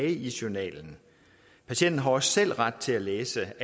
i journalen patienten har også selv ret til at læse